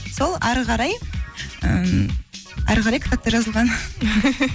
сол әрі қарай м әрі қарай кітапта жазылған